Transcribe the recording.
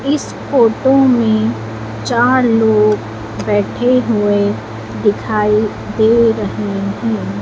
इस फोटो में चार लोग बैठे हुए दिखाई दे रहे हैं।